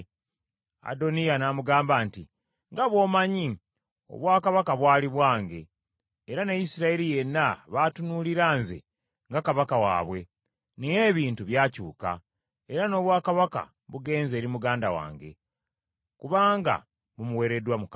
Adoniya n’amugamba nti, “Nga bw’omanyi, obwakabaka bwali bwange, era ne Isirayiri yenna baatunuulira nze nga kabaka waabwe. Naye ebintu byakyuka, era n’obwakabaka bugenze eri muganda wange, kubanga bumuweereddwa Mukama .